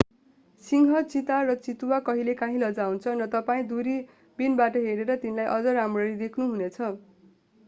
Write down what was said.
सिंह चीता र चितुवा कहिलेकाँही लजाउँछन् र तपाईं दूरबीनबाट हेरेर तिनलाई अझ राम्ररी देख्नु हुने छ